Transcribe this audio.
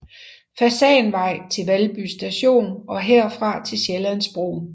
Fasanvej til Valby Station og herfra til Sjællandsbroen